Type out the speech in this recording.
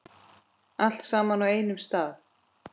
Allt saman á einum stað.